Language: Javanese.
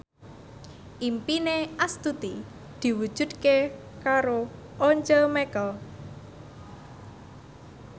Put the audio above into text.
impine Astuti diwujudke karo Once Mekel